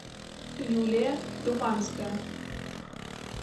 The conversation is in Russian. юлия думанская